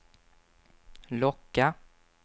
locka